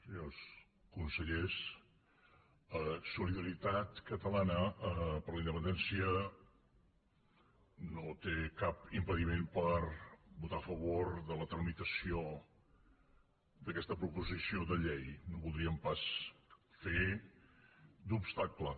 senyors consellers solidaritat catalana per la independència no té cap impediment per votar a favor de la tramitació d’aquesta proposició de llei no voldríem pas fer d’obstacle